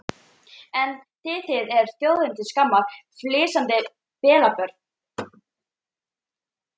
En þið þið eruð þjóðinni til skammar, flissandi pelabörn.